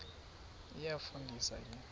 iyafu ndisa ke